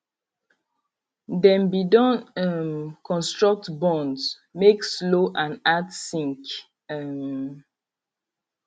dem be don um construct bunds make slow and add sink um